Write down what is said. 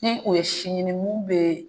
Ni o ye si ɲini mun bɛ